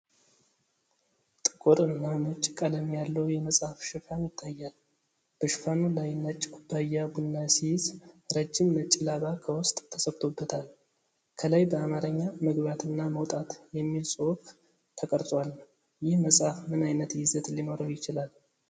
ጥቁር እና ነጭ ቀለም ያለው የመጽሐፍ ሽፋን ይታያል። በሽፋኑ ላይ ነጭ ኩባያ ቡና ሲይዝ፣ ረጅም ነጭ ላባ ከውስጥ ተሰክቶበታል። ከላይ በአማርኛ "ምግባት እና መውጣት" የሚል ጽሑፍ ተቀርጿል። ይህ መጽሐፍ ምን ዓይነት ይዘት ሊኖረው ይችላል?